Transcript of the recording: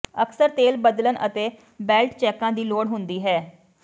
ਅਕਸਰ ਤੇਲ ਬਦਲਣ ਅਤੇ ਬੇਲਟ ਚੈੱਕਾਂ ਦੀ ਲੋੜ ਹੁੰਦੀ ਹੈ